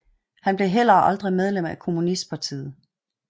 Han blev heller aldrig medlem af kommunistpartiet